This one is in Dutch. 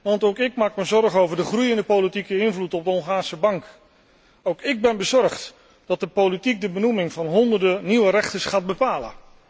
Want ook ik maak me zorgen over de groeiende politieke invloed op de Hongaarse bank. Ook ik ben bezorgd dat de politiek de benoeming van honderden nieuwe rechters gaat bepalen.